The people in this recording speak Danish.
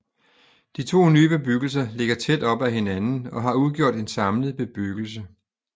De to nye bebyggelser ligger tæt op ad hinanden og har udgjort en samlet bebyggelse